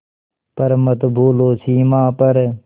पर मत भूलो सीमा पर